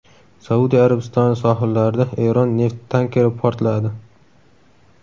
Saudiya Arabistoni sohillarida Eron neft tankeri portladi.